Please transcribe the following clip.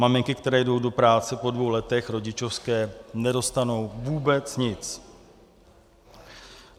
Maminky, které jdou do práce po dvou letech rodičovské, nedostanou vůbec nic.